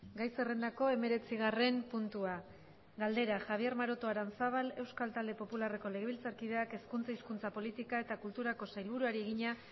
gai zerrendako hemeretzigarren puntua galdera javier maroto aranzábal euskal talde popularreko legebiltzarkideak hezkuntza hizkuntza politika eta kulturako sailburuari egina